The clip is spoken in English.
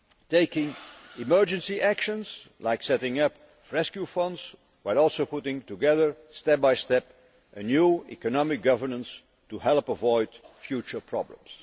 taking emergency actions, like setting up rescue funds, while also putting together, step by step, a new economic governance to help avoid future problems.